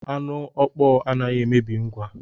Anu ọkpọọ anaghị emebi ngwa.